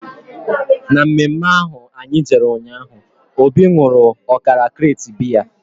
Na mme mme ahụ anyị jere ụnyaahụ, Obi nwụrụ ọkara krate biya